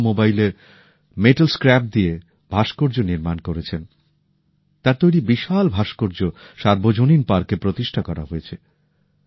অটোমোবাইলের metal scrap দিয়ে ভাস্কর্য নির্মাণ করেছেন তার তৈরি বিশাল ভাস্কর্য সার্বজনীন পার্কে প্রতিষ্ঠা করা হয়েছে